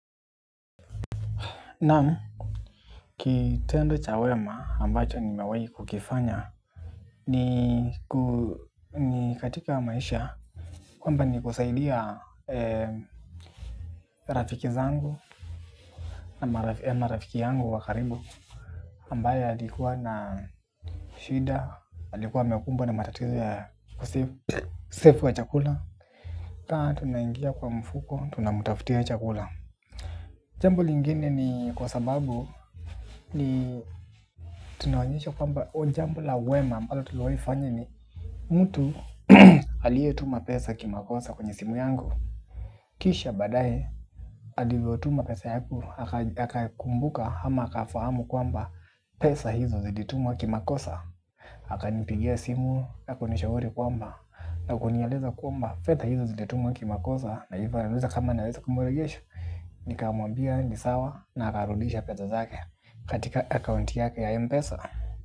Naam, kitendo cha wema ambacho nimewahi kukifanya ni ku katika maisha kwamba ni kusaidia rafiki zangu na rafiki yangu wakaribu ambaye alikuwa na shida, alikuwa amekumbwa na matatizo kosefu wa chakula. Kaa tunaingia kwa mfuko, tuna mtafutia chakula. Jambo lingine ni kwa sababu ni tunaonyesha kwamba o jambo la wema ambalo tuliwahifanya ni mtu alie tuma pesa kimakosa kwenye simu yangu kisha baadae alivyo tuma pesa yaku akakumbuka ama aka fahamu kwamba pesa hizo zilitumwa kimakosa. Haka nipigia simu na kunishauri kwamba na kunieleza kwamba fedha hizo zilitumwa kimakosa. Na hivyo ananiuliza kama naweza kumuregesha. Nikamuambia nisawa. Na akarudisha pesa zake katika account yake ya Mpesa.